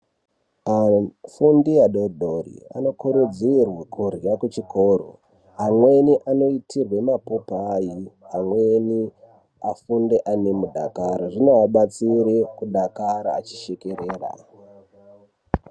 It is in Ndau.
Afundi adodori anokurudzirwa kurya kuchikoro. Amweni anoitirwe mapopai, amweni afunde ane mudakaro zvinoabatsire kudakara achishekerera.